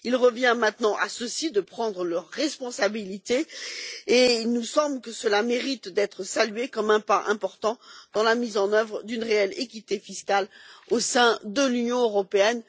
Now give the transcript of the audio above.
Il revient maintenant à ceux ci de prendre leurs responsabilités et il nous semble que cela mérite d'être salué comme un pas important dans la mise en œuvre d'une réelle équité fiscale au sein de l'Union européenne.